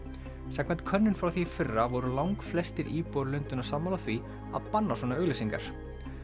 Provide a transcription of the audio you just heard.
samkvæmt könnun frá því í fyrra voru langflestir íbúar Lundúna sammála því að banna svona auglýsingar